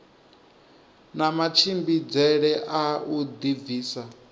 na matshimbidzele a u dibvisa